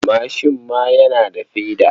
Mashin ma yana da feda.